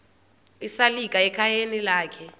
esalika ekhayeni lakhe